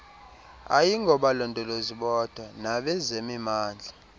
ayingobalondolozi bodwa nabezemimandla